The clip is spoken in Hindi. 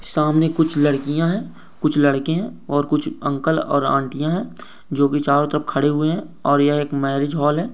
सामने कुछ लड़कियां है कुछ लड़के है और कुछ अंकल और आंटिया है जो कि चारो तरफ खड़े हुए हैं और यह एक मैरिज हॉल है।